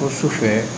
O su fɛ